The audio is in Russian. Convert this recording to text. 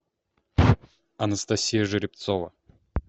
анастасия жеребцова